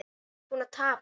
Þú ert búinn að tapa